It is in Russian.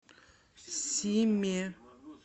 симе